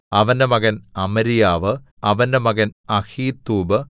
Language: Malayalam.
അവന്റെ മകൻ അമര്യാവു അവന്റെ മകൻ അഹീത്തൂബ്